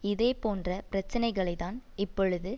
இதே போன்ற பிரச்சினைகளைதான் இப்பொழுது